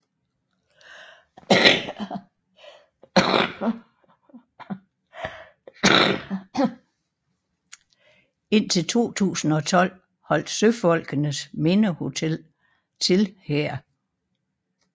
Indtil 2012 holdt Søfolkenes Mindehotel til her